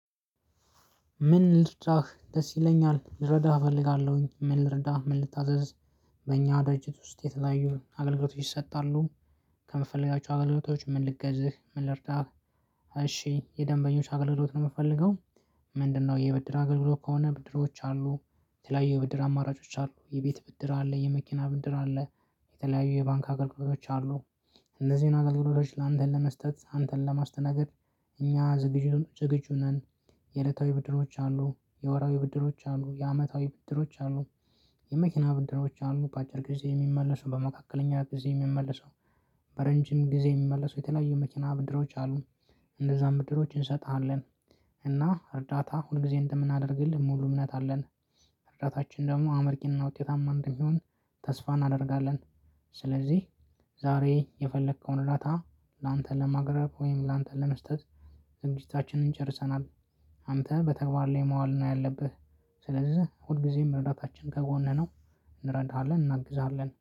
ምን ልርዳህ ደስ ይለኛል ልረዳህ እፈልጋለሁኝ ምን ልርዳህ ምን ልታዘዝ? በእኛ ደርጅት ውስጥ የተለያዩ አገልግሎቶች ይሰጣሉ። ከምፈልጋቸው አገልግሎቶች ምን ልገዝህ ምን ልርዳህ? የደንበኞች አገልግሎት ነው የምፈልገው። ምንድነው? የብድር አገልግሎት ከሆነ ብድሮች አሉ የተለያዩ የብድር አማራጮች አሉ የቤት ብድር አለ የመኪና ብድር አለ የተለያዩ የባንክ አገልግሎቶች አሉ። እነዚህን አግልግሎቶች ላንተ ለመስጠት አንተን ለማስተናገድ እኛ ዝግጅቱን ጨገጁ ነን። የዕለታዊ ብድሮች አሉ የወራዊ ብድሮች አሉ የአመታዊ ብድሮች አሉ። የመኪና ብድሮች አሉ በአጭር ጊዜ የሚመለሰው በመካከለኛ ጊዜ የሚመለሰው። በረጅም ጊዜ የሚመለሰው የተለያዩ መኪና ብድሮች አሉን እንደዛ ብድሮች እንሰጥሃለን። እና እርዳታ ሁል ጊዜ እንደምናደርግልን ሙሉ እምነት አለን። እርዳታችን ደግሞ አመርቂንና ውጤታማ እንደሚሆን ተስፋ እናደርጋለን። ስለዚህ ዛሬ የፈለከውን እርዳታ ላንተን ለማቅረብ ወይም ላንተን ለመስጠት ዝግጅታችንን ጨርሰናል። አንተ በተግባር ላይ መዋል ነው ያለብህ። ስለዚህ ሁልጊዜም ረዳታችን ከጎንህ ነው። እንረዳሃለን እናግዛለን